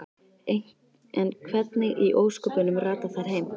En hvernig í ósköpunum rata þær heim?